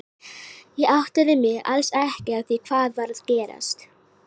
Ég áttaði mig alls ekki á því hvað var að gerast.